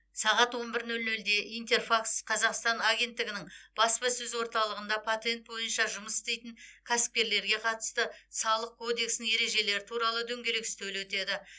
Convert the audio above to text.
сағат он бір нөл нөлде интерфакс қазақстан агенттігінің баспасөз орталығында патент бойынша жұмыс істейтін кәсіпкерлерге қатысты салық кодексінің ережелері туралы дөңгелек үстел өтеді